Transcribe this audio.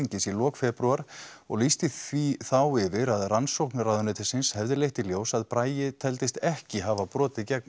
í lok febrúar og lýsti því þá yfir að rannsókn ráðuneytisins hefði leitt í ljós að Bragi teldist ekki hafa brotið gegn